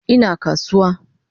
Ina kasuwa